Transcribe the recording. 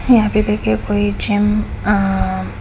यहाँ पे देखिए कोई जिम अ--